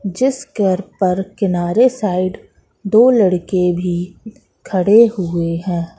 जिस घर पर किनारे साइड दो लड़के भी खड़े हुए है।